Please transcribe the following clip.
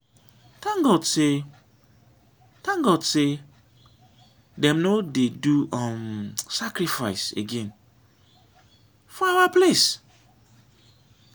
thank god say thank god say dem no dey do um sacrifice again for our place